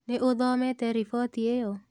Nĩ ũthomete riboti ĩyo?